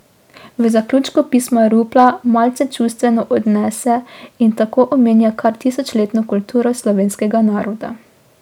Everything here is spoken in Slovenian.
V zaključku pisma Rupla malce čustveno odnese in tako omenja kar tisočletno kulturo slovenskega naroda.